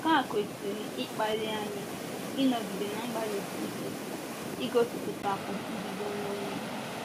Nke a kwesịrị ịkpali anyị ịnọgide na - agbalịsi ike igosipụtakwu njide onwe onye.